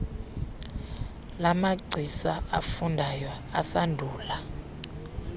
lamagcisa afundayo asandula